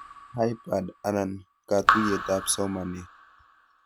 Hybird ana katuyetab somanet